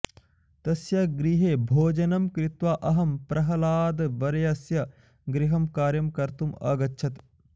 तस्य गृहे भोजनं कृत्वा अहं प्रहलादवर्यस्य गृहं कार्यं कर्तुम् अगच्छत्